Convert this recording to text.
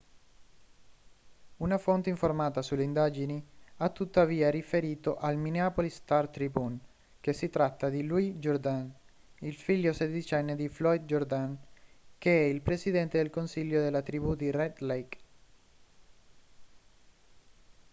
una fonte informata sulle indagini ha tuttavia riferito al minneapolis star-tribune che si tratta di louis jourdain figlio sedicenne di floyd jourdain che è il presidente del consiglio della tribù di red lake